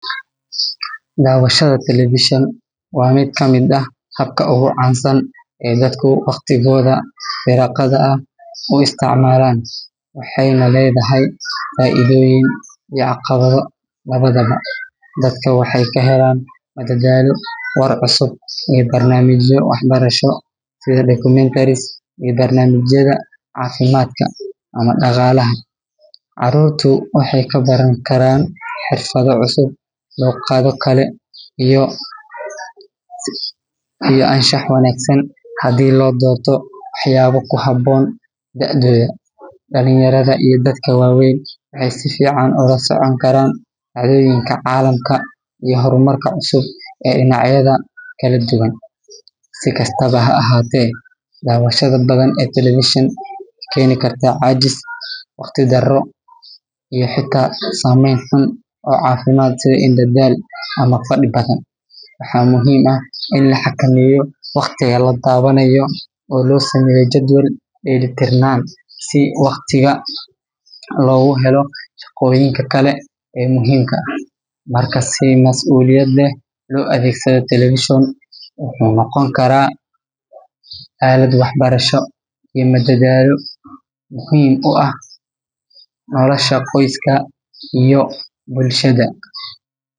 Dawashada televishan waa qabka oogu wanagsan aay dadka waqtigooda firaaqada ah ku isticmaalana, waxeeyna ledahay faaidoyin iyo carqalado labadaba, dadka waxeey ka helaan madadaalo war cusub iyo barnaamijyo wax barasho sida kuwa cafimaadka ama daqaalaha, caruurta waxeey ka baran karaan xirfado cusub, luqado kale iyo anshax wanagsan hadii loo doorto wax yaabo ku haboon daadooda, dalinyarada iyo dadka waweyn waxeey la socon karaan dacdooyinka caalamka iyo hor marka cusub ee dinacyada kala duban, si kastaba ha ahaate dawashada badan ee televishanka waxeey keeni kartaa cajis, waqti daro iyo xitaa sameen xun oo cafimaad sida daal ama fadi badan, waxaa muhiim ah in la xakameeyo waqtiga la dawaanayo oo loo sameeyo jadwal deeli tirnaan si waqti loogu helo shaqoyinka kale ee muhiimka ah, marka si masuuliyad leh loo adeegsado wuxuu noqon karaa aalad wax barasho iyo madadaalo muhiim u ah nolosha qoyska iyo bulshada.